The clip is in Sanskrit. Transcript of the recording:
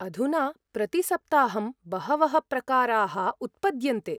अधुना प्रतिसप्ताहं बहवः प्रकाराः उत्पद्यन्ते।